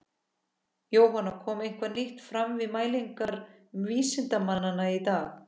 Jóhann, kom eitthvað nýtt fram við mælingar vísindamanna í dag?